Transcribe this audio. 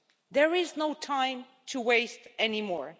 There is no time to waste anymore.